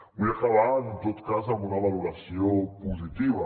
vull acabar en tot cas amb una valoració positiva